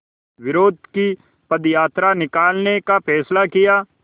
विरोध की पदयात्रा निकालने का फ़ैसला किया